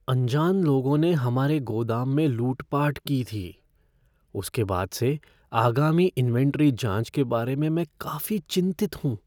अनजान लोगों ने हमारे गोदाम में लूटपाट की थी, उसके बाद से आगामी इन्वेंट्री जाँच के बारे में मैं काफी चिंतित हूँ।